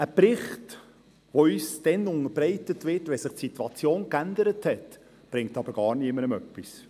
Ein Bericht, der uns dann unterbreitet wird, wenn sich die Situation bereits wieder geändert hat, bringt aber niemandem etwas.